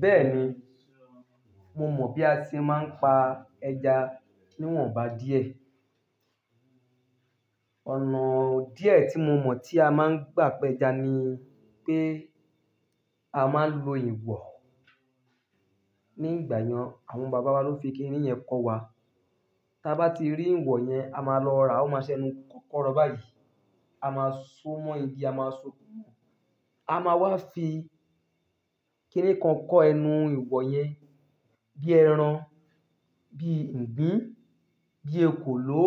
Bẹ́ẹ̀ni, mo mọ̀ bí a ṣe máa ń pa ẹja níwọ̀nba díẹ̀. Ọ̀nà díẹ̀ tí mo mọ̀ tí a máa ń gbà pẹ ẹja ni pé a máa lò ìwọ̀. Ní ìgbà yẹn àwọn bàbá wa ló fi kiní yẹn kọ́ wa. Tí a bá ti rí ìwọ̀ yẹn, a máa lọ ra, ó máa ṣẹnu kọ́kọ́rọ́ báyìí. A máa so mọ́ igi, a máa so kúrú. A máa wá fi kiní kan kọ ẹnu ìwọ̀ yẹn bí ẹran, bí ìgbín, bí ekòló.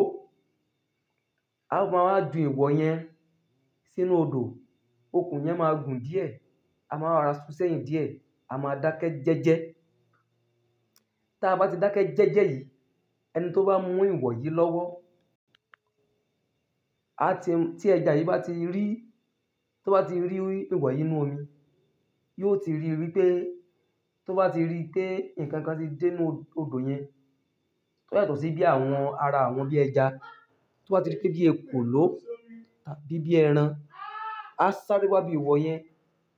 A máa wá jù ìwọ̀ yẹn sínú odò, okùn yẹn máa gùn díẹ̀. A máa wá ra ṣún sẹ̀yìn díẹ̀, a máa dákẹ́ jẹ́jẹ́. Tí a bá ti dákẹ́ jẹ́jẹ́ yìí, ẹni tí ó bá mú ìwọ̀ yìí lọ́wọ́, tí ẹja yìí bá ti rí, tó bá ti rí ìwọ̀ yìí nínú omi, yóò ti ríi pé tó bá ti rí pé nǹkan kan ti dé inú odò yẹn. Tó yàtọ̀ sí bí àwọn ara àwọn bí ẹja tó bá ti rí pé bí ekòló tàbí bí ẹran. A sáré wá bí ìwọ̀ yẹn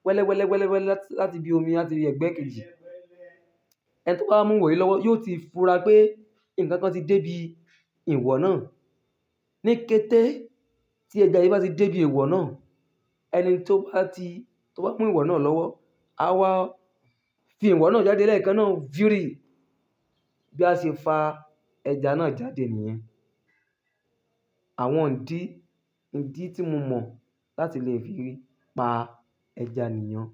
wẹ́lẹ́ wẹ́lẹ́ wẹ́lẹ́ wẹ́lẹ́ láti bi omi láti ẹgbẹ́ kiri. Ẹni tí ó bá mú ìwọ̀ yìí lọ́wọ́ yóò ti fura pé nǹkan kan ti dé ibi ìwọ̀ náà. Ní kété tí ẹja yìí bá ti dé ibi ìwọ̀ náà, ẹni tí ó bá ti, tí ó bá mú ìwọ̀ náà lọ́wọ́, a wá fi ìwọ̀ náà jáde lé ẹ̀ẹ̀kan náà fírì bí a ṣe fa ẹja náà jáde nìyẹn. Àwọn ìdí, ìdí tí mo mọ̀ láti lè fi pa ẹja nìyẹn.